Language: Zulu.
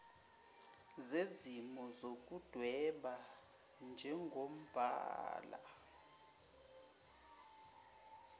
zezimo zokudweba njengombala